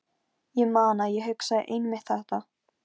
Ég man að ég hugsaði einmitt þetta.